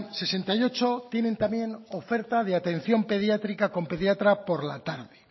sesenta y ocho tienen también oferta de atención pediátrica con pediatra por la tarde